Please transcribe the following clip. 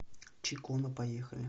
чакона поехали